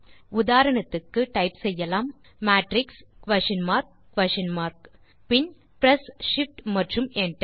உதாரணத்துக்கு டைப் செய்யலாம் matrix question mark question mark பின் பிரெஸ் shift மற்றும் enter